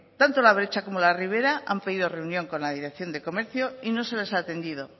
tanto la bretxa como la ribera han pedido reunión con la dirección de comercio y no se les ha atendido